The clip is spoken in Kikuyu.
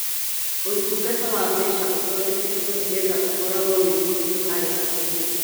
Ũtungata wa mbeca ũthondeketwo nigetha ũkoragwo wĩ mũhũthũ harĩ atũmĩri